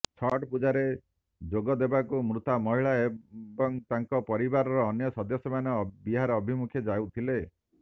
ଛଟ୍ ପୂଜାରେ ଯୋଗ ଦେବାକୁ ମୃତା ମହିଳା ଏବଂ ତାଙ୍କ ପରିବାରର ଅନ୍ୟ ସଦସ୍ୟମାନେ ବିହାର ଅଭିମୁଖେ ଯାଉଥିଲେ